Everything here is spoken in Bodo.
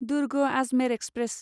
दुर्ग आजमेर एक्सप्रेस